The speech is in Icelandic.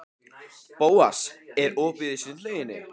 Bóas, er opið í Sundhöllinni?